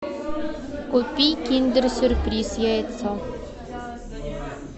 купи киндер сюрприз яйцо